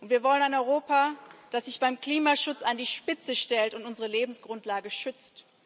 Wir wollen ein Europa, das sich beim Klimaschutz an die Spitze stellt und unsere Lebensgrundlage schützt.